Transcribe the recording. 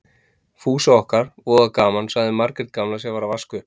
Fúsa okkar, voða gaman, sagði Margrét gamla sem var að vaska upp.